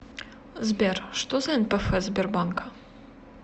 сбер что за нпф сбербанка